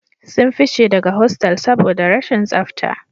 Sun fice daga hostal saboda rashin tsafta